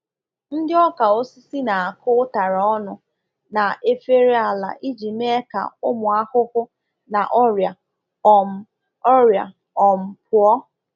Ndị ọka osisi na-akụ ụtara ọnụ na efereala iji mee ka ụmụ ahụhụ na ọrịa um ọrịa um pụọ.”